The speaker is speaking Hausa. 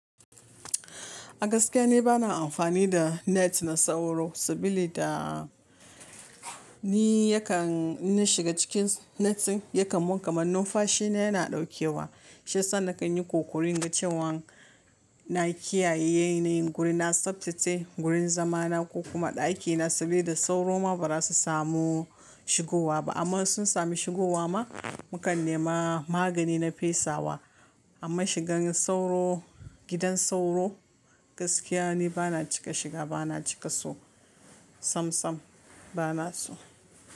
Gaskiya ni bana amfani da net na sauro saboda ni yakan in shiga cikin netin yakan mun kamannin fashi na yana ɗaukewa. Shiyasa na kan yi ƙoƙarin ga cewan na kiyaye guri na tsaftace gurin zama na ko kuma ɗakina saboda sauro ma ba za su samu shigowa ba amma sun sami shigowa ma mu kan nema magani na fesawa amma shigan sauro gidan sauro gaskiya ne bana cika shiga bana cika so sam sam bana so.